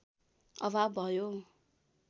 अभाव भयो